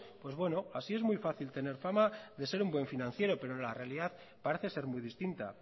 pues bueno así es muy fácil tener fama de ser un buen financiero pero la realidad parece ser muy distinta